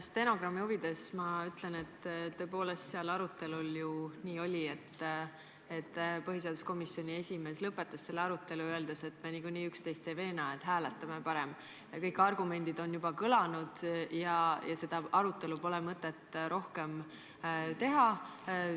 Ma stenogrammi huvides ütlen, et tõepoolest oli seal arutelul nii, et põhiseaduskomisjoni esimees lõpetas arutelu, öeldes, et me nagunii üksteist ei veena ja parem hääletame – kõik argumendid on juba kõlanud ja seda arutelu pole mõtet rohkem pidada.